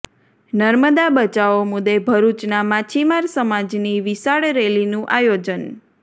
નર્મદા બચાવો મુદ્દે ભરૂચના માછીમાર સમાજની વિશાળ રેલીનું આયોજન